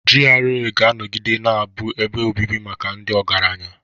GRA ga-anọgide na-abụ ebe obibi maka ndị ọgaranya.